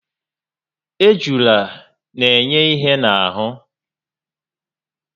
Ejula n'enye ihé n'ahụ́